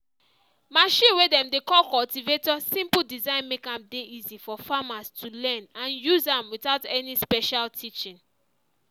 machine way dem dey call cultivator simple design make am dey easy for farmers to learn and use am without any special teaching.